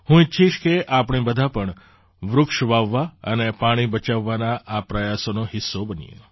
હું ઈચ્છીશ કે આપણે બધાં પણ વૃક્ષ વાવવા અને પાણી બચાવવાના આ પ્રયાસોનો હિસ્સો બનીએ